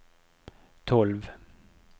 tolv